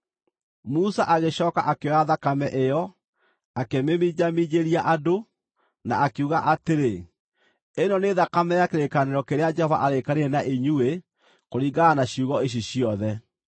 Musa agĩcooka akĩoya thakame ĩyo, akĩmĩminjaminjĩria andũ, na akiuga atĩrĩ, “Ĩno nĩ thakame ya kĩrĩkanĩro kĩrĩa Jehova aarĩkanĩire na inyuĩ kũringana na ciugo ici ciothe.”